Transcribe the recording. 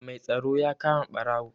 Mai tsaro ya kama ɓarawo.